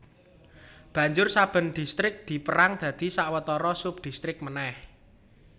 Banjur saben distrik dipérang dadi sawetara subdistrik manèh